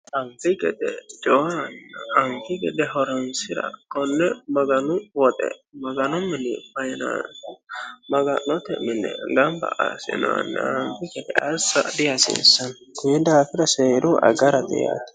Anfi gede jawa horonsira aganu woxe Maganu mine maga'note gamba assinoonniha firifirsa dihasiisano koni daafira seera agarisiisate.